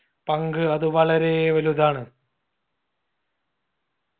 പങ്ക് അത് വളരേ വലുതാണ്